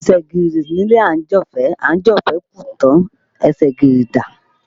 Ẹsẹ̀ gìrì nílé àńjọ̀fẹ́, àńjọ̀fẹ́ kú tán ẹsẹ̀ gìrì dá